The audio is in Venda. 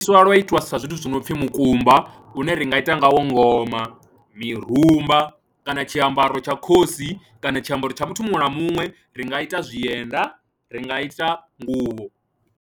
Sa lwa itwa sa zwithu zwi no pfhi mukumba une ri nga ita ngawo ngoma, mirumba kana tshiambaro tsha khosi kana tshiambaro tsha muthu muṅwe na muṅwe, ri nga ita zwienda, ri nga ita nguvho.